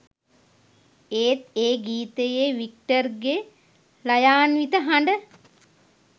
ඒත් ඒ ගීතයේ වික්ටර්ගේ ළයාන්විත හඬ